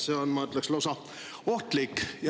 See on, ma ütleks, lausa ohtlik.